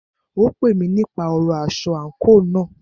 Ó pè mí nípa ọ̀rọ aṣọ àńkò náà.